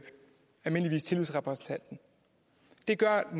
almindeligvis tillidsrepræsentanten det gør